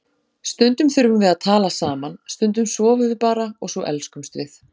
Stundum þurfum við að tala saman, stundum sofum við bara og svo elskumst við.